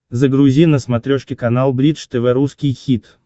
загрузи на смотрешке канал бридж тв русский хит